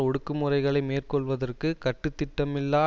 ஒடுக்கு முறைகளை மேற்கொள்வதற்கு கட்டுத்திட்டமில்லா